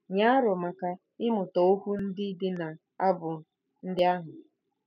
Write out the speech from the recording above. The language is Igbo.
Nye aro maka ịmụta okwu ndị dị n'abụ ndị ahụ.